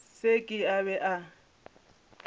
se ke a be a